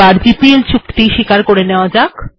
GPL চুক্তি কে মেনে নেয়া হল